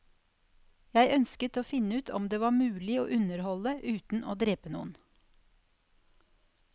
Jeg ønsket å finne ut om det var mulig å underholde uten å drepe noen.